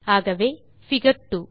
ஆகவே பிகர் 2